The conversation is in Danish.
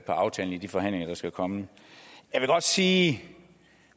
aftalen i de forhandlinger der skal komme jeg vil godt sige at